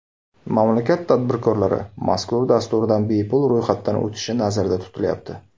Mamlakat tadbirkorlari mazkur dasturdan bepul ro‘yxatdan o‘tishi nazarda tutilayapti.